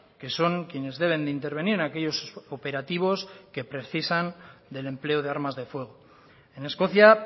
que son quienes deben de intervenir en aquellos operativos que precisan del empleo de armas de fuego en escocia